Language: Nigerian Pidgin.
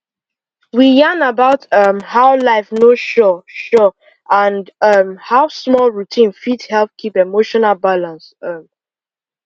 we yarn about um how life no sure sure and um how small routine fit help keep emotional balance um